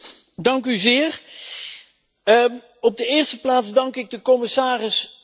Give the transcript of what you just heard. Op de eerste plaats dank ik de commissaris voor haar heldere uiteenzetting.